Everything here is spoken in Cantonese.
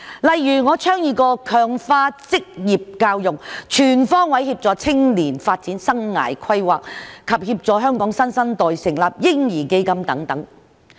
例如我曾倡議強化職業教育，全方位協助青年發展生涯規劃，以及協助香港新生代成立嬰兒基金等。